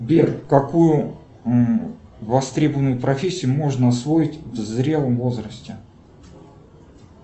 сбер какую востребованную профессию можно освоить в зрелом возрасте